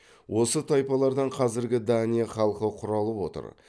осы тайпалардан қазіргі дания халқы құралып отыр